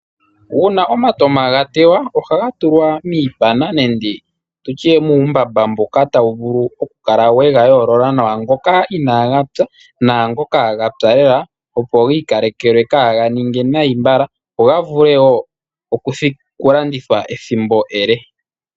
Uuna omatama ga tewa ohaga tulwa miipana nenge tutye muumbamba mboka tawu vulu oku kala wega yoolola nawa, ngoka inaga pya, naangoka ga pya lela, opo ga ikalekelwe kaaga ninge nai mbala, opo ga vule woo oku landithwa ethimbo ele.